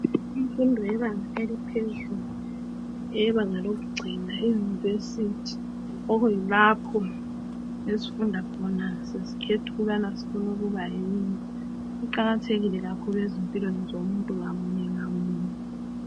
Imfundo eyebanga eliphezulu eyebanga lokugcina eYunivesithi, kuyilapho esifunda khona sesikhetha ukuthi singakhula sifuna ukuba yini?. Kuqakathekile kakhulu ezimpilweni zomuntu munye ngamunye.